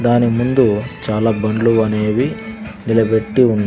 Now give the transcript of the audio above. దాని ముందు చాలా బండ్లు అనేవి నిలబెట్టి ఉన్--